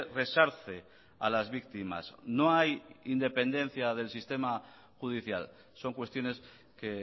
resarce a las víctimas no hay independencia del sistema judicial son cuestiones que